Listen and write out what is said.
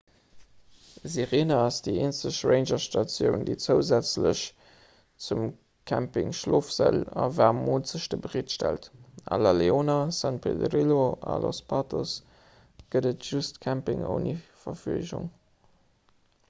sirena ass déi eenzeg rangerstatioun déi zousätzlech zum camping schlofsäll a waarm moolzechten bereetstellt a la leona san pedrillo a los patos gëtt et just camping ouni verfleegung